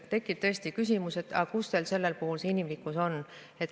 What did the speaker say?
Tekib tõesti küsimus, aga kus teil selle puhul see inimlikkus on.